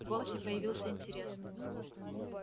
в голосе появился интерес